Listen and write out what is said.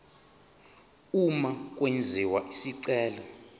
uma kwenziwa isicelo